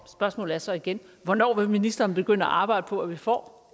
spørgsmålet er så igen hvornår vil ministeren begynde at arbejde på at vi får